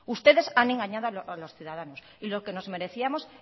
ustedes han engañado a los ciudadanos y lo que nos merecíamos